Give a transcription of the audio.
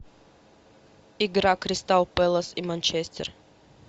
игра кристал пэлас и манчестер